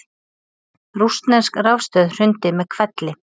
Rússnesk rafstöð hrundi með hvelli